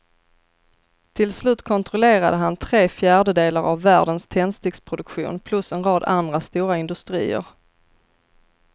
Till slut kontrollerade han tre fjärdedelar av världens tändsticksproduktion plus en rad andra stora industrier.